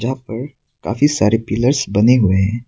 यहां पर काफी सारे पिलर्स बने हुए है।